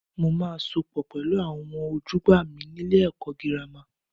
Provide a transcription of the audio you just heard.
Mo máa sopọ̀ pẹ̀lú àwọn ojúgbà mi nílé ẹ̀kọ́ girama.